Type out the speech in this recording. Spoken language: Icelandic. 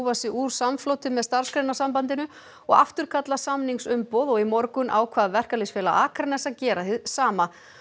sig úr samfloti með Starfsgreinasambandinu og afturkalla samningsumboð og í morgun ákvað Verkalýðsfélag Akraness að gera hið sama